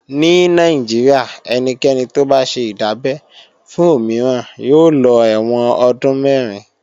Ní Nàìjíríà ẹnikẹ́ni tó bá ṣe ìdábẹ́ fún òmíràn yóò lọ ẹ̀wọ̀n ọdún mẹ̀rin